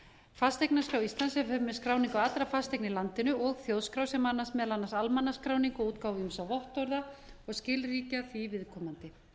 fasteignaskrá íslands sem fer með skráningu allra fasteigna í landinu og þjóðskrá sem annast meðal annars almannaskráningu og útgáfu ýmissa vottorða og skilríkja því viðkomandi